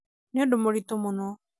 nĩ ũndũ mũrĩtũ mũno